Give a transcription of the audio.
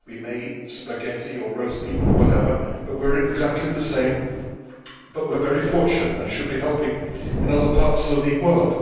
we may eat spaghetti, or roast beef or whatever, but we are exactly the same but we are very fortunate and should be helping in other parts of the world.